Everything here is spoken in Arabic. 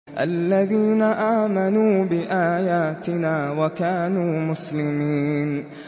الَّذِينَ آمَنُوا بِآيَاتِنَا وَكَانُوا مُسْلِمِينَ